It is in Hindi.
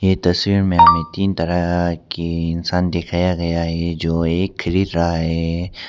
ये तस्वीर में हमें तीन तरह के इंसान दिखाया गया है जो ये क्रीड़ रहा है।